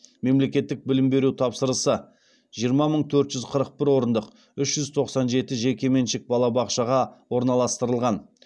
мемлекеттік білім беру тапсырысы жиырма мың төрт жүз қырық бір орындық үш жүз тоқсан жеті жекеменшік балабақшаға орналастырылған